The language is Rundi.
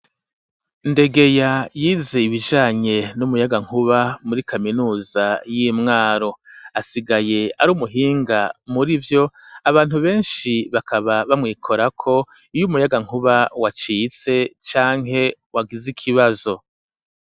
Ndegeya yize ibijanye n'umuyagankuba muri kaminuza y'Imwaro ,asigaye ari umuhinga muri vyo ,abantu benshi bakaba bamwikorako iyo umuyagankuba wacitse canke wagize ikibazo.